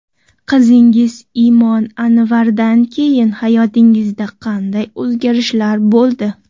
Qizingiz Imon Anvardan keyin hayotingizda qanday o‘zgarishlar bo‘ldi?